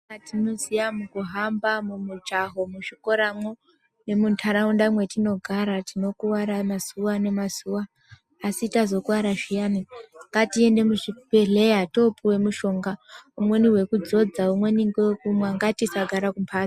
Zvatinoziya mukuhamba mukujaha muzvikoramwo nemuntaraunda mwetinogara tinokuwara mazuwa nemazuwa asi tazokuwara zviyani ngatiende muzvibhedhleya toopuwe mishonga umweni wekudzodza umweni ngewekumwa ngatisagara kumhatso